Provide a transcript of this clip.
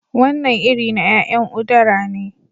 Wannan iri ya'yan udara ne